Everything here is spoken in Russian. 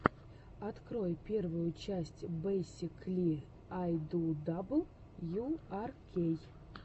открой первую часть бейсикли ай ду дабл ю ар кей